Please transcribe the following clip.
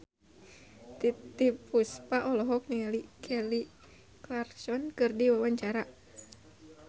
Titiek Puspa olohok ningali Kelly Clarkson keur diwawancara